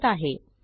वापरत आहे